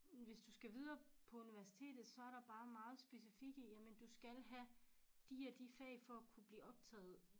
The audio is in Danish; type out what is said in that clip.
Hvis du skal videre på universitetet så der bare meget specifikke jamen du skal have de og de fag for at kunne blive optaget